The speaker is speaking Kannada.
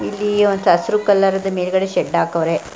ಇಲ್ಲಿ ಒಂದ್ ಹಸ್ರು ಕಲರದು ಮೇಲ್ಗಡೆ ಶೆಡ್ ಹಾಕವ್ರೆ.